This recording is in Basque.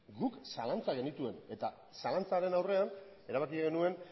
guk zalantzak genituen eta zalantzaren aurrean erabaki genuen